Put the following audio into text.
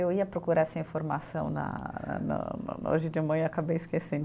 Eu ia procurar essa informação na no no, hoje de manhã e acabei esquecendo.